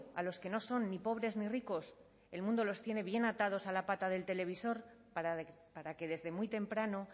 a los que no son ni pobres ni ricos el mundo los tiene bien atados a la pata del televisor para que desde muy temprano